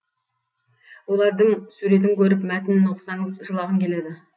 олардың суретін көріп мәтінін оқысаңыз жылағың келеді